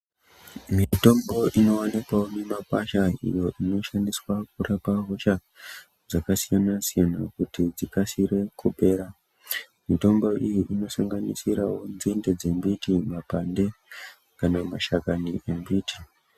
Mitombo inoonekwawo mumakwasha, iyo inoshandiswa kurapa hosha dzakasiyana-siyana kuti dzikasire kupera. Mitombo iyi inosanganisirawo nzinde dzembiti, mapande kana mashakani embiti.